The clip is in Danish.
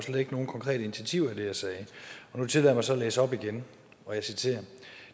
nogen konkrete initiativer i det jeg sagde nu tillader så at læse op igen og jeg citerer